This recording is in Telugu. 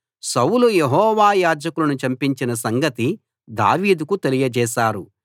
సౌలు యెహోవా యాజకులను చంపించిన సంగతి దావీదుకు తెలియచేసారు